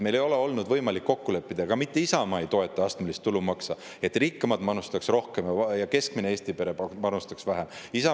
Meil ei ole olnud võimalik kokku leppida selles – ka Isamaa ei toeta astmelist tulumaksu –, et rikkamad panustaks rohkem ja keskmine Eesti pere panustaks vähem.